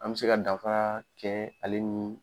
An be se ka danfara kɛ ale ni